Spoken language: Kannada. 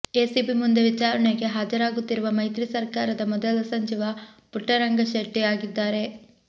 ಎಸಿಬಿ ಮುಂದೆ ವಿಚಾರಣೆಗೆ ಹಾಜರಾಗುತ್ತಿರುವ ಮೈತ್ರಿ ಸರ್ಕಾರದ ಮೊದಲ ಸಚಿವ ಪುಟ್ಟರಂಗಶೆಟ್ಟಿ ಅಗಿದ್ದಾರೆ